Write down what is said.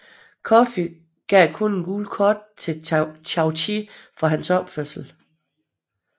Coffi gav kun et gult kort til Chaouchi for hans opførsel